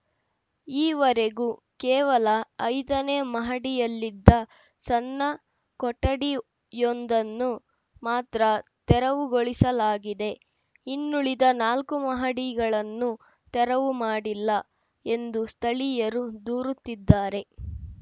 ಈ ವರೆಗೂ ಕೇವಲ ಐದನೇ ಮಹಡಿಯಲ್ಲಿದ್ದ ಸಣ್ಣ ಕೊಠಡಿಯೊಂದನ್ನು ಮಾತ್ರ ತೆರವುಗೊಳಿಸಲಾಗಿದೆ ಇನ್ನುಳಿದ ನಾಲ್ಕು ಮಹಡಿಗಳನ್ನು ತೆರವು ಮಾಡಿಲ್ಲ ಎಂದು ಸ್ಥಳೀಯರು ದೂರುತ್ತಿದ್ದಾರೆ